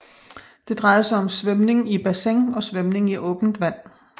Det drejede sig om svømning i bassin og svømning i åben vand